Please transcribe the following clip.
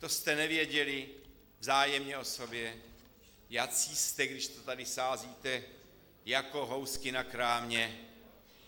To jste nevěděli vzájemně o sobě, jací jste, když to tady sázíte jak housky na krámě?